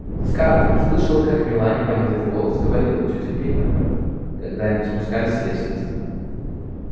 скарлетт слышала как мелани понизив голос говорила тете питтипэт когда они спускались с лестницы